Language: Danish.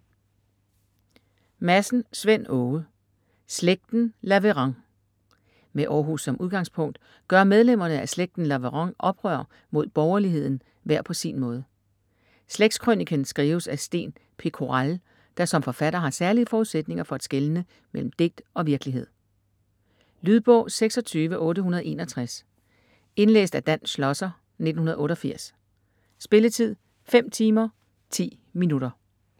Madsen, Svend Åge: Slægten Laveran Med Århus som udgangspunkt gør medlemmerne af slægten Laveran oprør mod borgerligheden hver på sin måde. Slægtskrøniken skrives af Sten Pekoral, der som forfatter har særlige forudsætninger for at skelne mellem digt og virkelighed. Lydbog 26861 Indlæst af Dan Schlosser, 1988. Spilletid: 5 timer, 10 minutter.